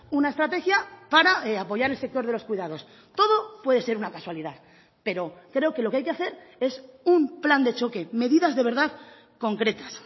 una estrategia para apoyar el sector de los cuidados todo puede ser una casualidad pero creo que lo que hay que hacer es un plan de choque medidas de verdad concretas